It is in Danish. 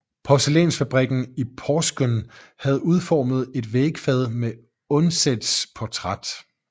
Porcelænsfabrikken i Porsgrunn havde udformet et vægfad med Undsets portræt